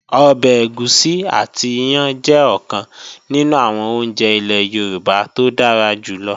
Ọbẹ̀ ẹ̀gúsí àti iyán jẹ́ ọ̀kan nínú àwọn oúnjẹ ilẹ́ Yorùbá tó dára jù lọ